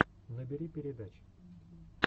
набери передачи